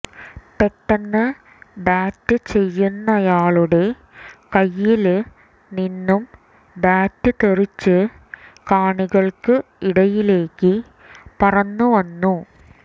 പെട്ടന്ന് ബാറ്റ് ചെയ്യുന്നയാളുടെ കൈയില് നിന്നും ബാറ്റ് തെറിച്ച് കാണികള്ക്ക് ഇടയിലേക്ക് പറന്നുവന്നു